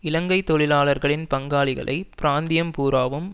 இலங்கை தொழிலாளர்களின் பங்காளிகளை பிராந்தியம் பூராவும்